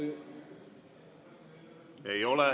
Ei ole küsimust.